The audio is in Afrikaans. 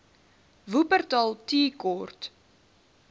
wupperthal tea court